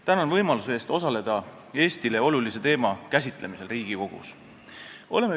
Tänan võimaluse eest osaleda Eestile olulise teema käsitlemisel Riigikogus!